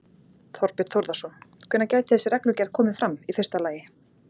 Þorbjörn Þórðarson: Hvenær gæti þessi reglugerð komið fram, í fyrsta lagi?